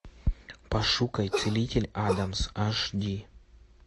пошукай целитель адамс аш ди